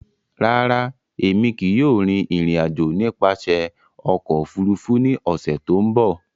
Rárá, Emi kii yóò rin irin-ajo nipasẹ ọkọ ofurufu ni ọsẹ to nbọ.